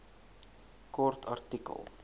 kort artikel